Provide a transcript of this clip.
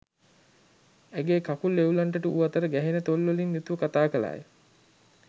ඇගේ කකුල් වෙව්ලන්නට වූ අතර ගැහෙන තොල්වලින් යුතුව කතා කළාය.